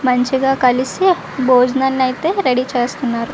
మంచిగా కలిసి భోజనం అయితే రెడీ చేస్తున్నారు.